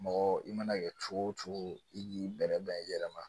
Mɔgɔ i mana kɛ cogo o cogo i k'i bɛrɛbɛn i yɛrɛ ma